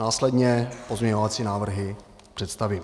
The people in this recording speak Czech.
Následně pozměňovací návrhy představím.